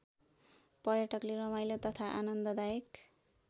पर्यटकले रमाइलो तथा आनन्ददायक